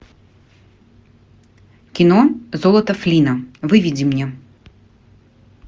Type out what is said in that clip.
кино золото флинна выведи мне